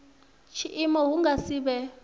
tshiimo hu nga si vhe